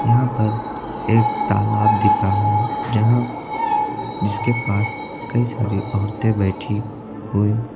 यहां पर एक तालाब दिख रहा है जहां जिसके पास कई सारी औरतें बैठी हुई।